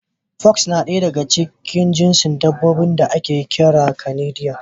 Fox na ɗaya daga cikin jinsin dabbobin da ake kira da Kanidiya.